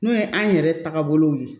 N'o ye an yɛrɛ tagabolow ye